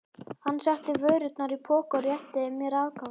Hann setti vörurnar í poka og rétti mér afganginn.